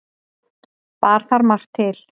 Bar þar margt til.